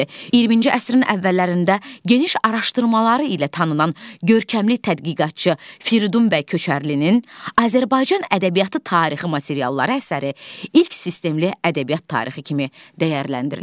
20-ci əsrin əvvəllərində geniş araşdırmaları ilə tanınan görkəmli tədqiqatçı Firidun bəy Köçərlilin Azərbaycan ədəbiyyatı tarixi materialları əsəri ilk sistemli ədəbiyyat tarixi kimi dəyərləndirilir.